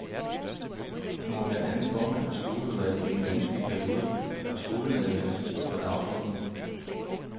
Hun var blandt andet formand for skoleudvalget i den vanskelige periode, hvor skolenedlæggelser stod på dagsordenen.